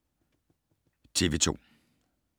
TV 2